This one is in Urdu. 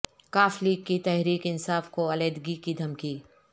ق لیگ کی تحریک انصاف کو علیحدگی کی دھمکی